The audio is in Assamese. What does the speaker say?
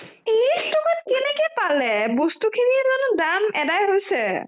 ত্ৰিছ টকাত কেনেকে পালে বস্তুখিনি দাম জালো এদাই হৈছে !